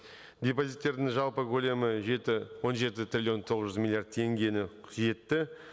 депозиттердің жалпы көлемі жеті он жеті триллион тоғыз жүз миллиард теңгені жетті